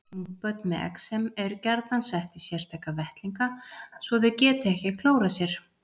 Ungbörn með exem eru gjarnan sett í sérstaka vettlinga svo þau geti ekki klórað sér.